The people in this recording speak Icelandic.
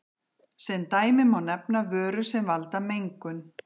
sem dæmi má nefna vörur sem valda mengun